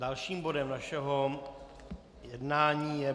Dalším bodem našeho jednání je